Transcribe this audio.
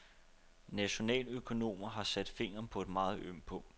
Nationaløkonomer har sat fingeren på et meget ømt punkt.